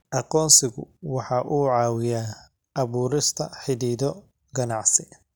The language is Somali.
Aqoonsigu waxa uu caawiyaa abuurista xidhiidho ganacsi.